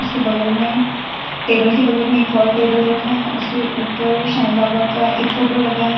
बगल में टेबल के बगल में एक और टेबल रखा है उसके ऊपर साईं बाबा का एक फोटो लगा है।